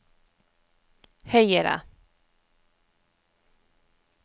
høyere